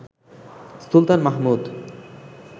Sultan Mahmud